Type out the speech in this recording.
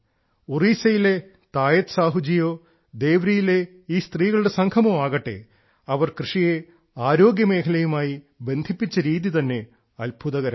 ഒഡീഷയിലെ ശ്രീ പതായത്ത് സാഹുവോ ദേവ്രിലെ ഈ സ്ത്രീകളുടെ സംഘമോ ആകട്ടെ അവർ കൃഷിയെ ആരോഗ്യമേഖലയുമായി ബന്ധിപ്പിച്ച രീതി തന്നെ അത്ഭുതകരമാണ്